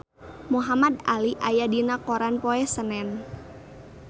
Muhamad Ali aya dina koran poe Senen